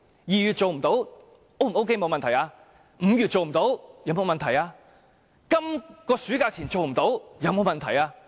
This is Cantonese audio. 2月做不到，有沒有問題 ？5 月做不到，有沒有問題？今年暑假前做不到，有沒有問題？